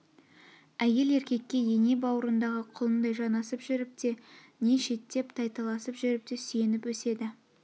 әйел еркекке ене бауырындағы құлындай жанасып жүріп те не шеттеп тайталасып жүріп те сүйеніп өседі